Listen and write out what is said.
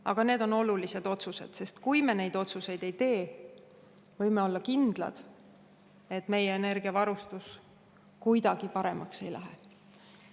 Aga need on olulised otsused, sest kui me neid otsuseid ei tee, võime olla kindlad, et meie energiavarustus kuidagi paremaks ei lähe.